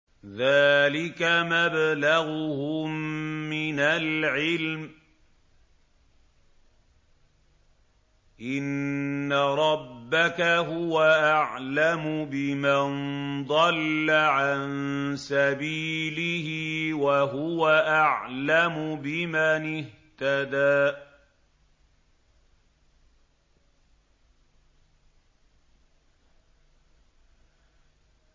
ذَٰلِكَ مَبْلَغُهُم مِّنَ الْعِلْمِ ۚ إِنَّ رَبَّكَ هُوَ أَعْلَمُ بِمَن ضَلَّ عَن سَبِيلِهِ وَهُوَ أَعْلَمُ بِمَنِ اهْتَدَىٰ